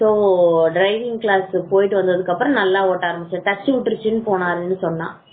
so driving class போட்டதுக்கு அப்புறம் வந்து நல்லா ஓட்ட ஆரம்பிச்ச நாகேஷ் சொன்னா